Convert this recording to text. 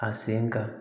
A sen ka